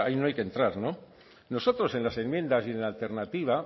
no hay que entrar no nosotros en las enmiendas y en la alternativa